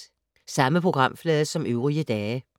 Samme programflade som øvrige dage